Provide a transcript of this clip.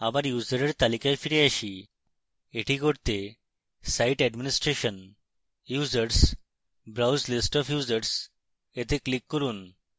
আবার ইউসারের তালিকায় ফিরে যাই